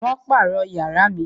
Wón pàrọ̀ yàrá mi